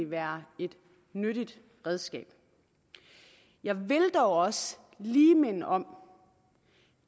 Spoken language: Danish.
være et nyttigt redskab jeg vil dog også lige minde om